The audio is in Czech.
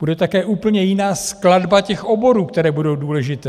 Bude také úplně jiná skladba těch oborů, které budou důležité.